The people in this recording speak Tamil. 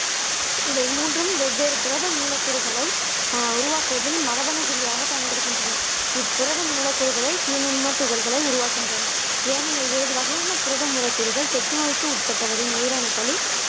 இவை மூன்றும் வெவ்வேறு புரத மூலக்கூறுகளை ஆஹ் உருவாக்குவதில் மரபணு குறியாக பயன்படுகின்றன இப்புரதம் மூலக்கூறுகளை தீநுண்மம்த் துகள்களை உருவாக்குகின்றன ஏனைய ஏழு வகையான புரதம்மூல கூறுகள் தொற்று நோய்க்கு உட்பட்டவரின் உயிரணுக்களில்